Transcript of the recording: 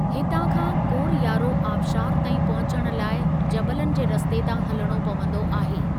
हितां खां कोरयारो आबशारु ताईं पहुचण लाइ जबलनि जे रस्ते तां हलिणो पंवदो आहे|